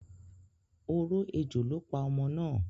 Oró ejò ló pa ọmọ náà.